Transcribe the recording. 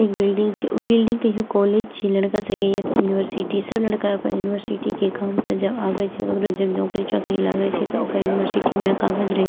एक बिल्डिंग छै उ बिल्डिंग के हेऊ कॉलेज छिये लड़का सबके या ते यूनिवर्सिटी सब लड़का सब अपन यूनिवर्सिटी के काम से जब आवे छै ककरो जब नौकरी चोकरी लागे छै ते ओकर यूनिवर्सिटी में कागज रही --